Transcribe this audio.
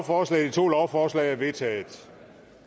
to lovforslag er vedtaget